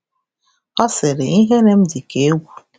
Ọ sịrị: “Ihere m dị ka egwu.